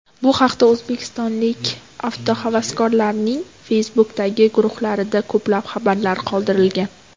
Bu haqda o‘zbekistonlik avtohavaskorlarning Facebook’dagi guruhlarida ko‘plab xabarlar qoldirilgan .